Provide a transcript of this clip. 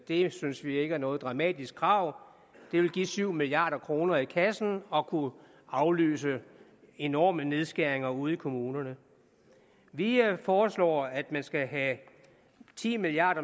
det synes vi ikke er noget dramatisk krav det vil give syv milliard kroner i kassen og kunne aflyse enormt store nedskæringer ude i kommunerne vi foreslår at man skal have ti milliard